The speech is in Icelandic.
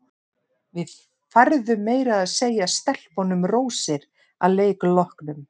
Við færðum meira að segja stelpunum rósir að leik loknum.